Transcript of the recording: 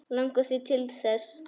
Langar þig til þess?